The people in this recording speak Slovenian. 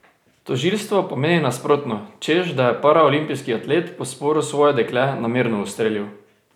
Tožilstvo pa meni nasprotno, češ da je paraolimpijski atlet po sporu svoje dekle namerno ustrelil.